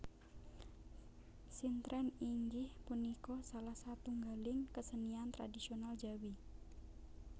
Sintren inggih punika salah satunggaling kesenian tradhisional Jawi